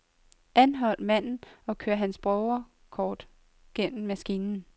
Anhold manden og kør hans borgerkort gennem maskinen.